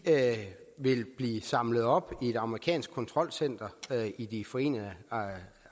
vil blive samlet op i et amerikansk kontrolcenter i de forenede